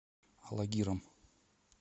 алагиром